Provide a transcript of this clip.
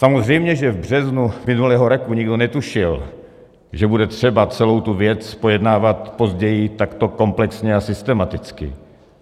Samozřejmě že v březnu minulého roku nikdo netušil, že bude třeba celou tu věc pojednávat později takto komplexně a systematicky.